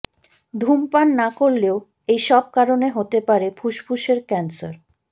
ধূমপান না করলেও এই সব কারণে হতে পারে ফুসফুসের ক্যান্সার